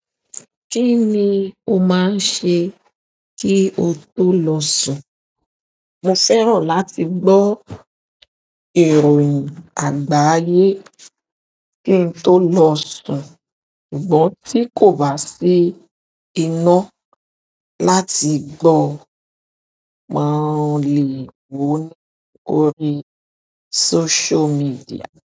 Kí ni o máa ń ṣe kí o tó lọ sùn? Mo fẹ́ràn láti gbọ́ ìròyìn àgbáyé kí n tó lọ sùn, ṣùgbọ́n tí kò bá sí iná láti gbọ́, mo lè wò ó ní orí social media.